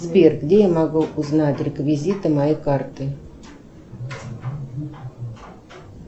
сбер где я могу узнать реквизиты моей карты